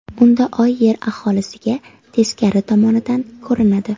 Unda Oy Yer aholisiga teskari tomonidan ko‘rinadi.